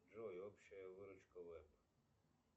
джой общая выручка вэб